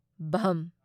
ꯚ